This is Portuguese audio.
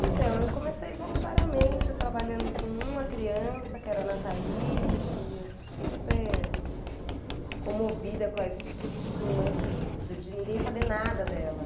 Então, eu comecei voluntariamente trabalhando com uma criança, que era a Nathalie, que eu fiquei super comovida com a histo com o lance de ninguém saber nada dela.